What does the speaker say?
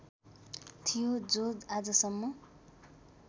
थियो जो आजसम्म